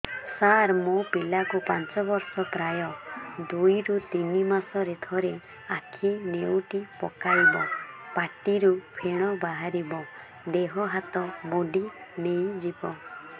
ସାର ମୋ ପିଲା କୁ ପାଞ୍ଚ ବର୍ଷ ପ୍ରାୟ ଦୁଇରୁ ତିନି ମାସ ରେ ଥରେ ଆଖି ନେଉଟି ପକାଇବ ପାଟିରୁ ଫେଣ ବାହାରିବ ଦେହ ହାତ ମୋଡି ନେଇଯିବ